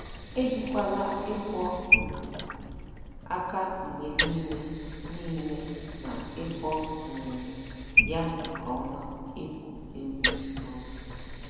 Ejikwala ịkwọ um aka mgbe niile niile na ịkwọ um ya nke ọma egwu egwu um.